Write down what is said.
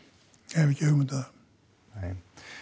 ég hef ekki hugmynd um það nei